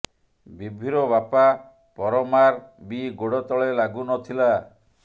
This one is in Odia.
ବିଭୁର ବାପା ପରମାର ବି ଗୋଡ଼ ତଳେ ଲାଗୁ ନ ଥିଲା